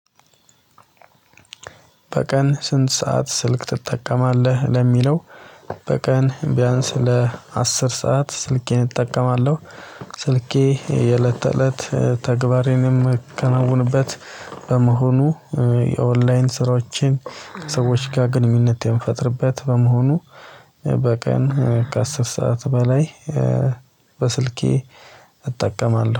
በቀን ስንት ሰዓት ስልክ ትጠቀማለህ? ለሚለው በቀን ቢያንስ ለአስር ሰዓት ስልኬን እጠቀማለሁ ስልኬ የእለት ተእለት ተግባሬንም ማከናውንበት በመሆኑ የኦንላይን ስራዎችን ሰዎች ጋር ግንኙነት የምፈጥርበት በመሆኑ በቀን ከአስር ሰዓት በላይ በስልኬ እጠቀማለሁ